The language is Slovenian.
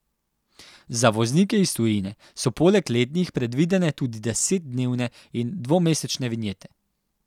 Za voznike iz tujine so poleg letnih predvidene tudi desetdnevne in dvomesečne vinjete.